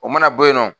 O mana bɔ yen nɔ